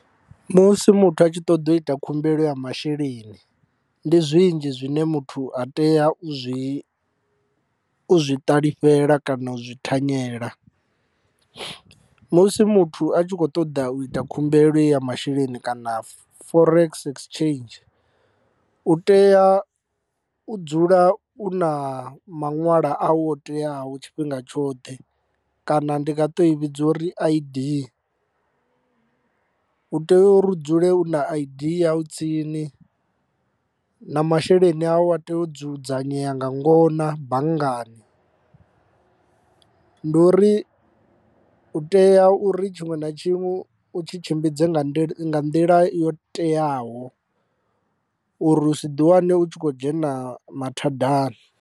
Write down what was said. Musi muthu a tshi ṱoḓa u ita khumbelo ya masheleni ndi zwinzhi zwine muthu a tea u zwi u zwi ṱalifhela kana u zwi thanyela. Musi muthu a tshi kho ṱoḓa u ita khumbelo ya masheleni kana forex exchange u tea u dzula u na maṅwala awu o teaho tshifhinga tshoṱhe kana ndi nga ṱo i vhidza uri I_D u tea u ri dzule u na I_D yau tsini na masheleni awu a tea u dzudzanyea nga ngona banngani, ndi uri u tea uri tshiṅwe na tshiṅwe u tshi tshimbidze nga nḓila yo teaho uri u si ḓi wane u tshi khou dzhena mathadani.